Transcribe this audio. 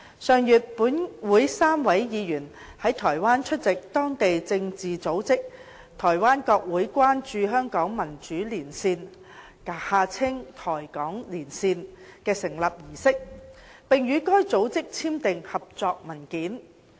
上月本會3位議員在台灣出席當地政治組織"台灣國會關注香港民主連線"的成立儀式，並與該組織簽訂合作文件。